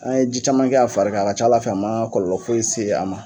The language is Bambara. An ye ji caman kɛ a fari ka a ka ca Ala fɛ a ma kɔɔlɔ foyi se a ma.